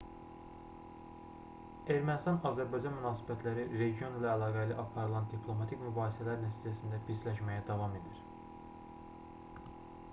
ermənistan-azərbaycan münasibətləri region ilə əlaqəli aparılan diplomatik mübahisələr nəticəsində pisləşməyə davam edir